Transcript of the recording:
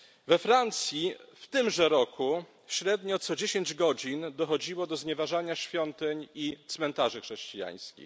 We Francji w tymże roku średnio co dziesięć godzin dochodziło do znieważania świątyń i cmentarzy chrześcijańskich.